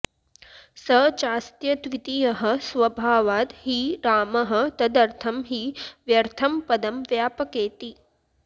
स चास्त्यद्वितीयः स्वभावाद् हि रामः तदर्थं हि व्यर्थं पदं व्यापकेति